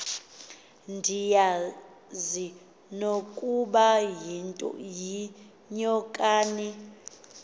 ndiyazi nokuba yinyokani